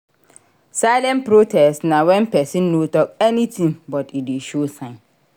Silent protest na when persin no talk anything but e de show sign